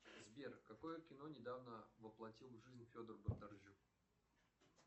сбер какое кино недавно воплотил в жизнь федор бондарчук